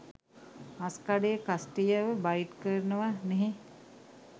මස්කඩේ කස්ටියව බයිට් කරනව නේහ්